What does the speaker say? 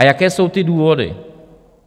A jaké jsou ty důvody?